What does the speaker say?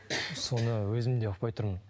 соны өзім де ұқпай тұрмын